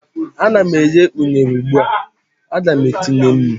a na m eghe unere ugbua, Aga m etinye nnu?